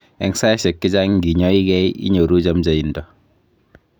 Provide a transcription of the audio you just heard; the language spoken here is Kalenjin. Eng saishek chechang nginyaige ,inyoru chamchaindo